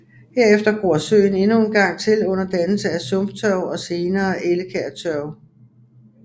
Herefter gror søen endnu en gang til under dannelse af sumptørv og senere ellekærtørv